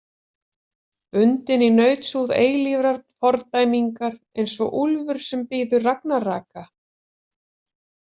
Bundinn í nautshúð eilífrar fordæmingar eins og úlfur sem bíður ragnaraka.